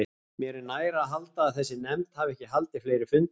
Mér er nær að halda, að þessi nefnd hafi ekki haldið fleiri fundi.